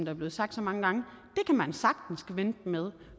er blevet sagt mange gange kan man sagtens vente med